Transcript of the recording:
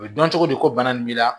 U bɛ dɔn cogo di ko bana nin b'i la